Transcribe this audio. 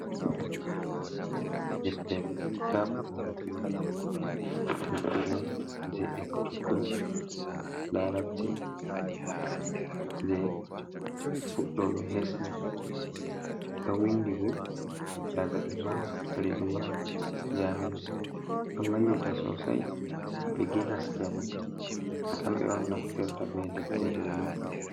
Deftere kitabul arabiyaa, deftere'on jee ekkutuggo larabci nde fudɗoɓe hesɓe. Ɗo wiindibo daga imam Redwan jami'u ɗoo wallita sosai, biiginas kenan kamɓe'on naftirta be deftere nde.